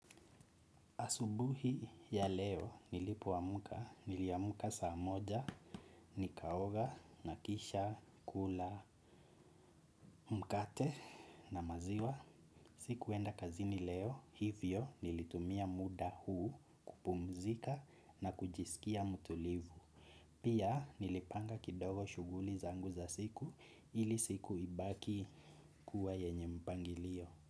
Asubuhi ya leo nilipoamka, niliamka saa moja, nikaoga, na kisha, kula, mkate na maziwa. Sikuenda kazini leo, hivyo, nilitumia muda huu kupumzika na kujisikia mtulivu. Pia, nilipanga kidogo shughuli zangu za siku, ili siku ibaki kuwa yenye mpangilio.